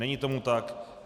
Není tomu tak.